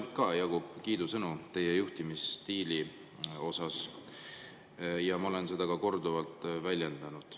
Mul ka jagub ainult kiidusõnu teie juhtimisstiili kohta ja ma olen seda ka korduvalt väljendanud.